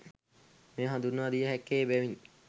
මෙය හඳුන්වා දිය හැක්කේ එබැවිනි.